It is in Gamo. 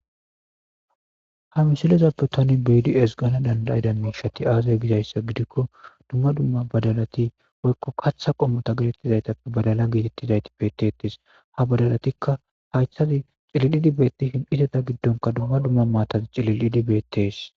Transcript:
Hamisilezappe tani beyidi es gana dandayida miishati aazay gizayssa gidikko dumma dumma badalati worko kaththa qommota getettizaytappe badala giitittizayti bettetis habadalatikka haythazi cililidi bettihin iteta giddonka dumma dumma maatazi cililidi beettes.